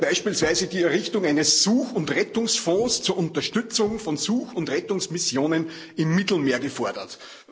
Da wird beispielsweise die Errichtung eines Such und Rettungsfonds zur Unterstützung von Such und Rettungsmissionen im Mittelmeer gefordert.